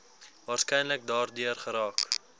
waarskynlik daardeur geraak